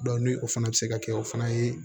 ni o fana bɛ se ka kɛ o fana ye